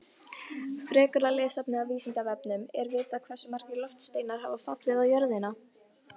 Frekara lesefni á Vísindavefnum: Er vitað hversu margir loftsteinar hafa fallið á jörðina?